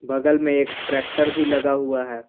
बगल में एक ट्रैक्टर भी लगा हुआ है।